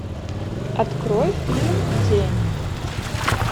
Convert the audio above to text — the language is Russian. открой фильм тень